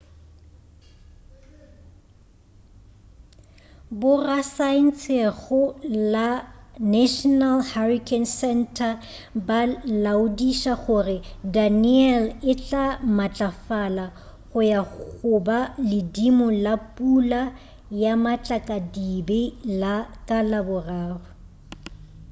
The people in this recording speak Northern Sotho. borasaentshego la national hurrican center ba laodiša gore danielle e tla matlafala go ya go ba ledimo la pula ya matlakadibe ka laboraro